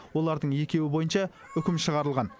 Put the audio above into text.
олардың екеуі бойынша үкім шығарылған